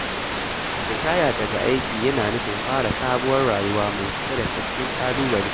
Ritaya daga aiki yana nufin fara sabuwar rayuwa mai cike da sabbin ƙalubale.